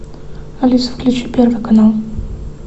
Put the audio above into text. алиса включи первый канал